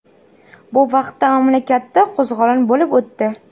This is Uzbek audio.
Bu vaqtda mamlakatda qo‘zg‘olon bo‘lib o‘tdi.